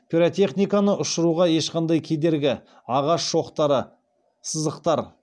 пиротехниканы ұшыруға ешқандай кедергі ағаш шоқтары сызықтар